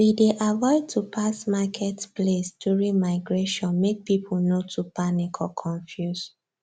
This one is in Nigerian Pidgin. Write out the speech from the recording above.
we dey avoid to pass market place during migration make people nor too panic or confuse